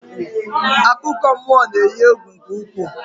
Akụkọmmụọ na-eyi egwu nke ukwuu